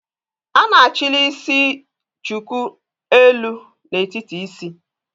A na-achili isi chuku elu n'etiti isi